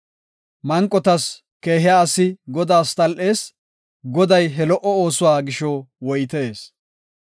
Manqos keehiya asi Godaas tal7ees; Goday he lo77o oosuwa gisho woytees.